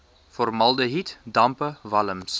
formaldehied dampe walms